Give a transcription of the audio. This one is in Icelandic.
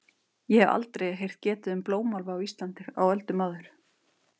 Ég hef aldrei heyrt getið um blómálfa á Íslandi á öldum áður.